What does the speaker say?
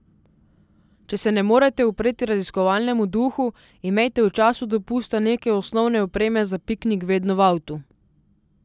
Če se ne morete upreti raziskovalnemu duhu, imejte v času dopusta nekaj osnovne opreme za piknik vedno v avtu.